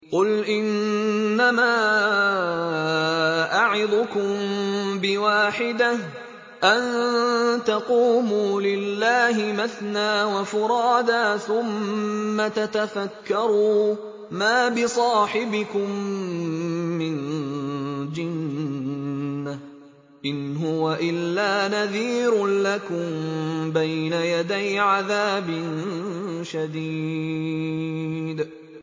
۞ قُلْ إِنَّمَا أَعِظُكُم بِوَاحِدَةٍ ۖ أَن تَقُومُوا لِلَّهِ مَثْنَىٰ وَفُرَادَىٰ ثُمَّ تَتَفَكَّرُوا ۚ مَا بِصَاحِبِكُم مِّن جِنَّةٍ ۚ إِنْ هُوَ إِلَّا نَذِيرٌ لَّكُم بَيْنَ يَدَيْ عَذَابٍ شَدِيدٍ